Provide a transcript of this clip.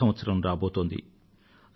కొత్త సంవత్సరం రాబోతోంది